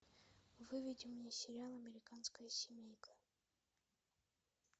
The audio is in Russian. выведи мне сериал американская семейка